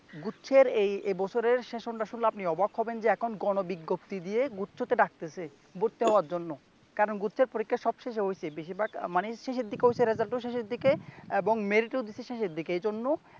গুচ্ছের এই এ বছরের সেশনটা শুনলে আপনি অবাক হবেন যে এখন গণবিজ্ঞপ্তি দিয়ে গুচ্ছতে ডাকতেছে ভর্তি হওয়ার জন্য কারণ গুচ্ছের পরীক্ষা সবশেষে হইসে বেশিরভাগ মানে শেষেরদিকে হইসে রেজাল্ট ও শেষের দিকে এবং মেরিট ও দিচ্ছে শেষের দিকে এইজন্য